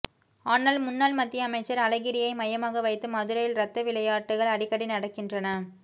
ஆனால் முன்னாள் மத்திய அமைச்சர் அழகிரியை மையமாக வைத்து மதுரையில் ரத்தவிளையாட்டுகள் அடிக்கடி நடக்கின்றன